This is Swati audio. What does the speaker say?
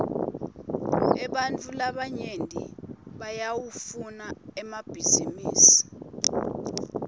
ebantfu labanyenti bayawafuna emabhisinisi